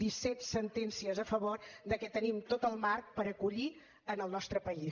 disset sentències a favor de que tenim tot el marc per acollir en el nostre país